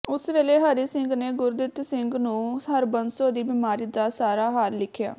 ਉਸ ਵੇਲੇ ਹਰੀ ਸਿੰਘ ਨੇ ਗੁਰਦਿਤ ਸਿੰਘ ਨੂੰ ਹਰਬੰਸੋ ਦੀ ਬਿਮਾਰੀ ਦਾ ਸਾਰਾ ਹਾਲ ਲਿਖਿਆ